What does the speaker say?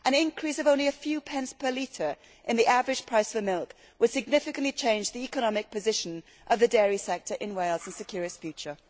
An increase of only a few pence per litre in the average price for milk would significantly change the economic position of the dairy sector in Wales and secure its future.